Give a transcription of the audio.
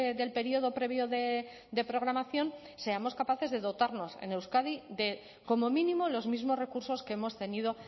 del periodo previo de programación seamos capaces de dotarnos en euskadi de como mínimo los mismos recursos que hemos tenido